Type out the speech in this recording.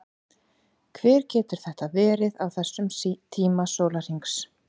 Hver getur þetta verið á þessum tíma sólarhrings?